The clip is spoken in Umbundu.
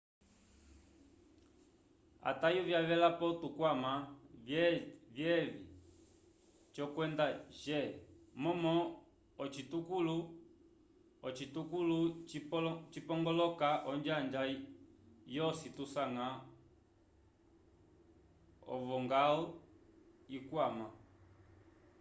atayo vyavelapo tukwama vyevi c kwenda g momo ocitukulo cipongoloka onjanja yosi tusanga ovongal yikwama